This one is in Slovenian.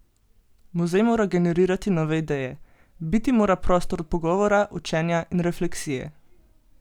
Muzej mora generirati nove ideje: "Biti mora prostor pogovora, učenja in refleksije.